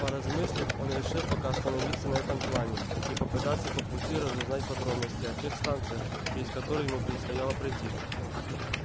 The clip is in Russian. поразмыслив он решил пока остановиться на этом плане и попытаться по пути разузнать подробности о тех станциях через которые ему предстояло пройти